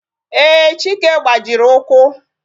Ee, chike gbajiri ụkwụ